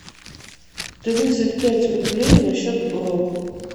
тридцать пять рублей на счет бро